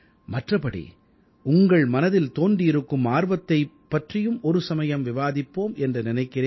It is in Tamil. மற்றபடி உங்கள் மனதில் தோன்றியிருக்கும் ஆர்வத்தைப் பற்றியும் ஒரு சமயம் விவாதிப்போம் என்று நினைக்கிறேன்